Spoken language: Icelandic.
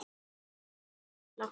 Sæl, ég heiti Lilla